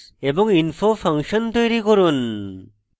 info function তৈরী করুন